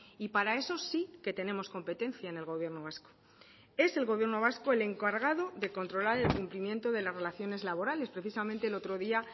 y para eso sí que tenemos competencia en el gobierno vasco es el gobierno vasco el encargado de controlar el cumplimiento de las relaciones laborales precisamente el otro día